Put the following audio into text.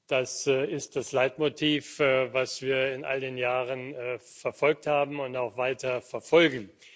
Das ist das Leitmotiv, das wir in all den Jahren verfolgt haben und auch weiter verfolgen.